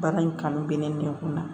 Baara in kanu bɛ ne kun na